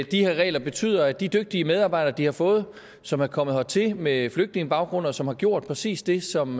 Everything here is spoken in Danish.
de her regler betyder at de dygtige medarbejdere de har fået som er kommet hertil med flygtningebaggrund og som har gjort præcis det som